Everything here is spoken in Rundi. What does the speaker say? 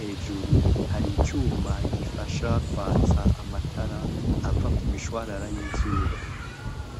Hejuru hari icuma gifasha kwatsa amatara ava ku mishwarara y'izuba.